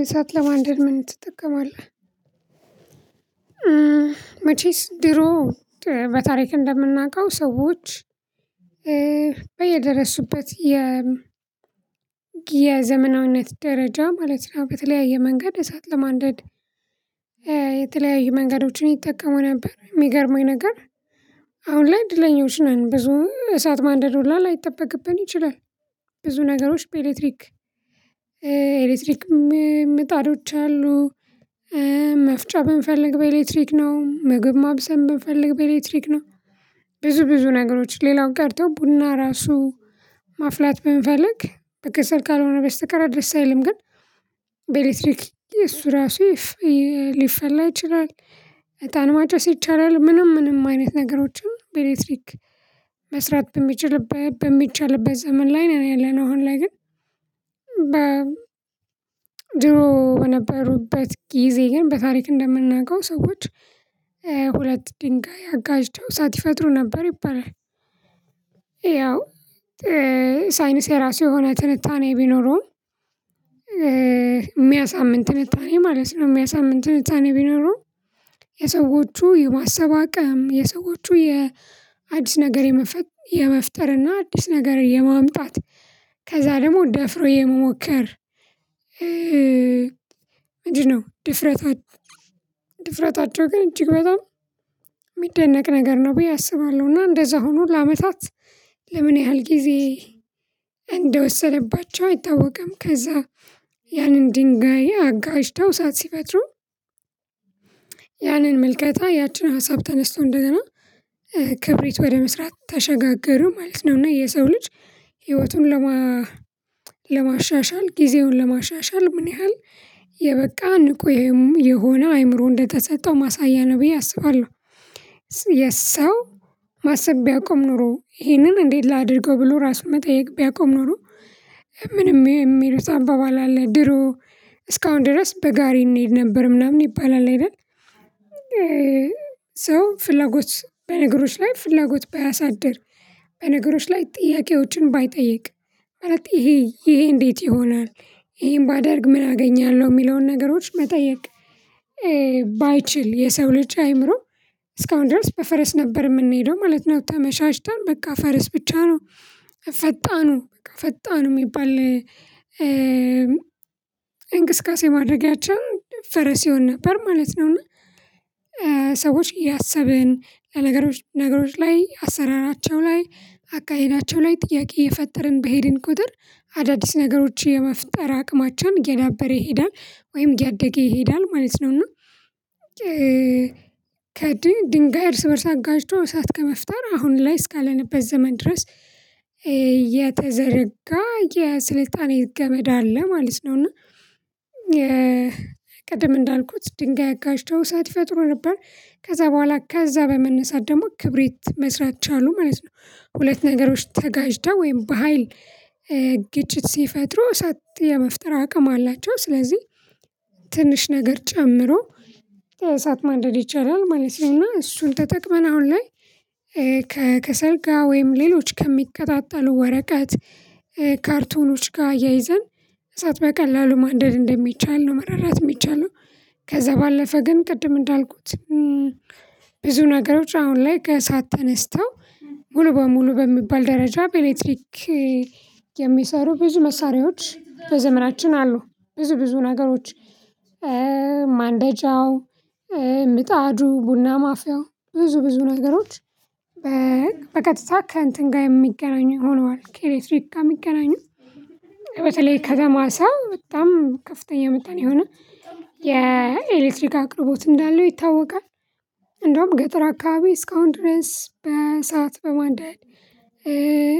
እሳት ለማንደድ ምን ትጠቀማለህ መቼስ ድሮ በታሪክ እንደምናውቀው ሰዎች በየደረሱበት የ የዘመናዊነት ደረጃ ማለት ነው። በተለያየ መንገድ እሳት ለማንደድ። የተለያየ መንገዶችን ይጠቀሙ ነበር። የሚገርመኝ ነገር አሁን ላይ እድለኞች ነን ብዙ እሳት ማንደድ ሁላ ላይጠበቅብን ይችላል። ብዙ ነገሮች በኤሌክትሪክ ኤሌክትሪክ ምጣዶች አሉ። መፍጫ ብንፈልግ በኤሌክትሪክ ነው ምግብ ማብሰል ብንፈልግ በኤሌክትሪክ ነው። ብዙ ብዙ ነገሮች ሌላው ቀርቶ ቡና ራሱ ማፍላት ብንፈልግ በከሰል ካልሆነ በስተቀር ደስ አይልም። ግን በኤሌክትሪክ እሱ ራሱ ሊፈላ ይችላል። እጣን ማጨስ ይቻላል ምንም ምንም አይነት ነገሮችን በኤሌክትሪክ መስራት በሚችልበት በሚቻልበት ዘመን ላይ ነው ያለነው። አሁን ላይ ግን በ ድሮ በነበሩበት ጊዜ ግን በታሪክ እንደምናውቀው ሰዎች ሁለት ድንጋይ አጋጭተው እሳት ይፈጥሩ ነበር ይባላል። ያው ሳይኒስ የራሱ የሆነ ትንታኔ ቢኖረውም። የሚያሳምን ትንታኔ ማለት ነው። የሚያሳምን ትንታኔ ቢኖረው የሰዎቹ የማሰብ አቅም የሰዎቹ የአዲስ ነገር የመፍጠር እና አዲስ ነገር የማምጣት ከዛ ደግሞ ደፍሮ የመሞከር። ምንድ ነው? ድፍረታቸው ግን እጅግ በጣም የሚደነቅ ነገር ነው ብዬ አስባለሁ። እና እንደዛ ሆኖ ለአመታት ለምን ያህል ጊዜ እንደወሰደባቸው አይታወቅም። ከዛ ያንን ድንጋይ አጋጭው እሳት ሲፈጥሩ። ያንን ምልከታ ያችን ሀሳብ ተነስቶ እንደገና ክብሪት ወደ መስራት ተሸጋገሩ ማለት ነው። እና የሰው ልጅ ህይወቱን ለማ ለማሻሻል ጊዜውን ለማሻሻል ምን ያህል የበቃ ንቁ የሆነ አእምሮ እንደተሰጠው ማሳያ ነው ብየ አስባለሁ። የሰው ማሰብ ቢያቆም ኖሮ ይሄንን እንዴት ላድርገው ብሎ ራሱን መጠየቅ ቢያቆም ኖሮ። ምን የሚሉት አባባል ድሮ እስካሁን ድረስ በጋሪ እንሄድ ነበር ምናምን ይባላል አይደል ይላል። ሰው ፍላጎት በነገሮች ላይ ፍላጎት ባያሳድር በነገሮች ላይ ጥያቄዎችን ባይጠይቅ ማለት ይሄ ይሄ እንዴት ይሆናል? ይሄን ባደርግ ምን አገኛለሁ የሚለውን ነገሮች መጠየቅ። ባይችል የሰው ልጅ አእምሮ እስካሁን ድረስ በፈረስ ነበር የምንሄደው ማለት ነው። ተመሻሽተን በቃ ፈረስ ብቻ ነው። ፈጣኑ ፈጣኑ የሚባል እንግስቃሴ ማድረጊያቸው ፈረስ ይሆን ነበር ማለት ነው። እና ሰዎች እያሰብን ለነገሮች ነገሮች ላይ አሰራራቸው ላይ አካሄዳቸው ላይ ጥያቄ እየፈጠርን በሄድን ቁጥር አዳዲስ ነገሮችን የመፍጠር አቅማቸው እየዳበረ ይሄዳል ወይም እያደገ ይሄዳል ማለት ነው። እና ከድንጋይ እርስ በእርስ አጋጭቶ እሳት ከመፍጠር አሁን ላይ እስካለንበት ዘመን ድረስ የተዘረጋ የስልጣኔ ገመድ አለ ማለት ነው። እና ቀደም እንዳልኩት ድንጋይ አጋጭተው እሳት ይፈጥሩ ነበር ከዛ በኋላ ከዛ በመነሳት ደግሞ ክብሪት መስራት ቻሉ ማለት ነው። ሁለት ነገሮች ተጋጭተው ወይም በሃይል ግጭት ሲፈጥሩ እሳት የመፍጠር አቅም አላቸው። ስለዚህ ትንሽ ነገር ጨምሮ እሳት ማንደድ ይቻላል ማለት ነው። እና እሱን ተጠቅመን አሁን ላይ ከከሰልጋ ወይም ሌሎች ከሚቀጣጠሉ ወረቀት ካርቶኖች ጋር አያይዘን እሳት በቀላሉ ማንደድ እንደሚቻል ነው። መረዳት የሚቻለው። ከዛ ባለፈ ግን ቅድም እንዳልኩት ብዙ ነገሮች አሁን ላይ ከእሳት ተነስተው ሙሉ በሙሉ በሚባል ደረጃ በኤሌክትሪክ የሚሰሩ ብዙ መሳሪያዎች በዘመናችን አሉ። ብዙ ብዙ ነገሮች ማንደጃው ምጣዱ ቡና ማፊያው ብዙ ብዙ ነገሮች በቀጥታ ከእንትን ጋር የሚገናኙ ሆነዋል። ከኤሌክትሪክ ጋር የሚገናኙ በተለይ ከተማ ሰው በጣም ከፍተኛ መጠን የሆነ የኤሌክትሪክ አቅርቦት እንዳለው ይታወቃል። እንደውም ገጠር አካባቢ እስካሁን ድረስ በእሳት በማንደድ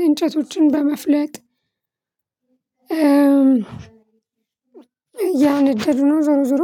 እንጨቶችን በመፍለጥ እያነደዱ ነው። ዞሮ ዞሮ